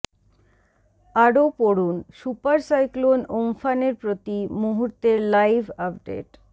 আরও পড়ুন super cyclone উমফানের প্রতি মুহূর্তের লাইভ আপডেট